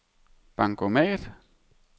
bankomat